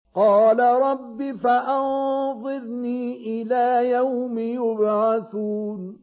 قَالَ رَبِّ فَأَنظِرْنِي إِلَىٰ يَوْمِ يُبْعَثُونَ